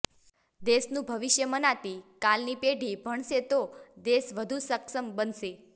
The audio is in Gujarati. દેશનું ભવિષ્ય મનાતી કાલની પેઢી ભણશે તો દેશ વધુ સક્ષમ બનશે